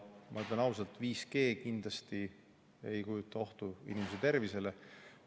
Ma ütlen ausalt, et 5G kindlasti ei kujuta ohtu inimese tervisele.